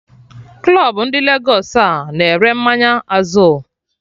Club ndị Lagos a-na ere mmanya Azul?